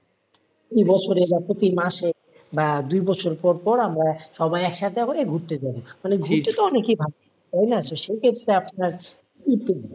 এ বছরে বা প্রতি মাসে বা দুই বছর পর পর আমরা সবাই একসাথে করে ঘুরতে যাবো মানে ঘুরতে তো অনেকেই ভালোবাসে তাই না তো সেই ক্ষেত্রে আপনার